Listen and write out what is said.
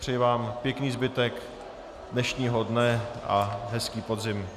Přeji vám pěkný zbytek dnešního dne a hezký podzim.